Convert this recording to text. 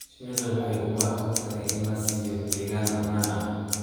Shinnidu waxay u baahan tahay in la siiyo deegaan ammaan ah.